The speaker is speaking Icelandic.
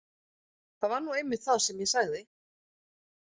Það var nú einmitt það sem ég sagði.